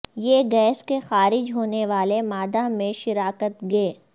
یہ گیس کے خارج ہونے والے مادہ میں شراکت گے